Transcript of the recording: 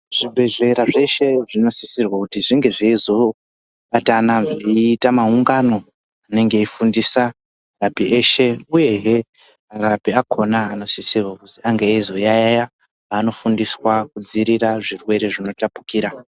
Zvibhedhlera zvese zvinosisirwa kuti zvinge zveizobatana eita maungano anenge aifundisa arapi eshe uye hee arapi akona anosisirwa kuti ange aizoyayiya panofundiswa kudziirira zvirwere zvinotapukira.